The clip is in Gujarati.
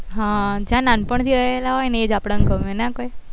હા જ્યાં નાન પણ થી રેહેલા હોય એજ આપડ ને ગમે નહી કોય